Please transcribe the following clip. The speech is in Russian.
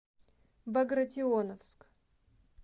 багратионовск